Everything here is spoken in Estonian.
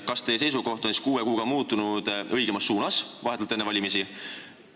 Kas teie seisukoht on siis kuue kuuga muutunud õigemas suunas, vahetult enne valimisi?